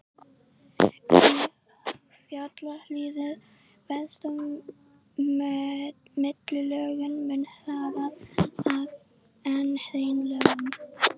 Í fjallahlíðum veðrast millilögin mun hraðar en hraunlögin.